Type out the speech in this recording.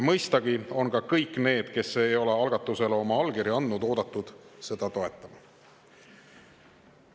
Mõistagi on ka kõik need, kes ei ole algatusele veel oma allkirja andnud, oodatud seda toetama.